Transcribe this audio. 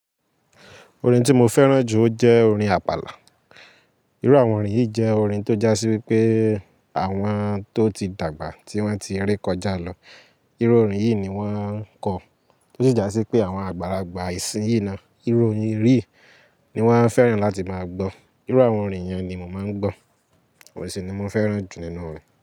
Orin tí mo fẹ́ràn jù ó jẹ́ orin Àpàlà. Irú àwọn orin yìí jẹ́ orin tó jásí wípé àwọn tó ti dàgbà tí wọ́n ti re kọjá lọ. Irú orin yìí ni wọ́n ń kọ, tó sì jásí pé àwọn àgbàlagbà ìsìnyín náà, irú orin yìí ni wọ́n fẹ́ràn láti máa gbọ́. Irú àwọn orin yẹn ni mò ń gbọ́, òun sì ni mo fẹ́ràn jù nínú orin.